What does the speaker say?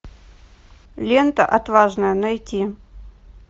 лента отважная найти